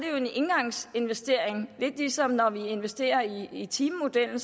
er en engangsinvestering lidt ligesom når vi investerer i timemodellen